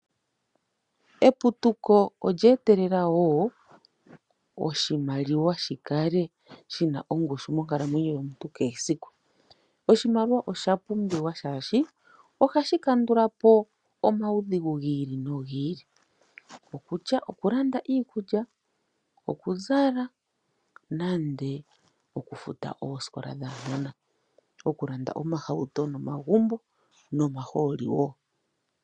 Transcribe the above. Eputuko olyeetelela woo oshimaliwa shikale shina ongushu monkalamwenyo yomuntu keesiku. Oshimaliwa osha pumbiwa shaashi oha shi kandulapo omaudhigu gi ili no hi ili, okutya oku landa iikulya, okuzala nande oku futa oosikola dhaanona no shoo woo oku landa oohauto nomagumbo nomahooli woo.